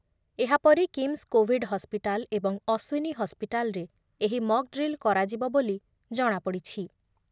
ଏହା ପରେ KIMS covid hospital ଏବଂ ଅଶ୍ୱିନୀ ହସ୍‌ପିଟାଲରେ ଏହି ମକ୍‌ ଡ୍ରିଲ୍ କରାଯିବ ବୋଲି ଜଣାପଡିଛି ।